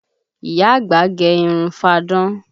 Ìyá àgbà gẹ irun fáadán